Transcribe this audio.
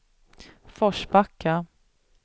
Forsbacka